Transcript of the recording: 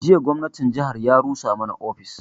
Jiya gwamnatin jihar ya rusa mana ofis